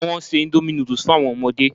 Wọ́n se indomie noodles fun àwọn ọmọdé